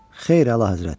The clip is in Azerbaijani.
Xeyr, Əlahəzrət.